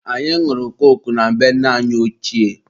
anyị nwụrụ koku na be nne anyi ochie.